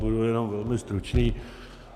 Budu jenom velmi stručný.